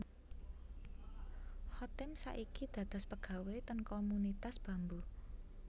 Chotim sak niki dados pegawe ten Komunitas Bambu